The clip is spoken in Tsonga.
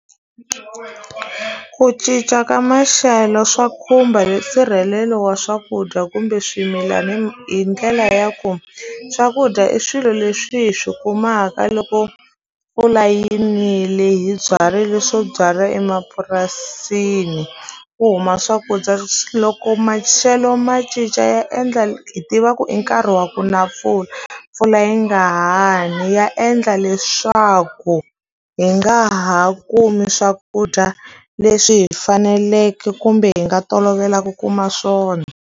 Ku cinca ka maxelo swa khumba nsirhelelo wa swakudya kumbe swimilana hi ndlela ya ku swakudya i swilo leswi hi swi kumaka loko mpfula yi nile hi byarile swo byala emapurasini ku huma swakudya loko maxelo ma cinca ya endla hi tiva ku i nkarhi wa ku na mpfula mpfula yi nga ha ni ya endla leswaku hi nga ha kumi swakudya leswi hi faneleke kumbe hi nga tolovela ku kuma swona.